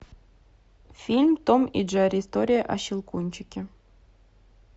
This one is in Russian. фильм том и джерри история о щелкунчике